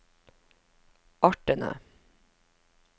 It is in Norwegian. artene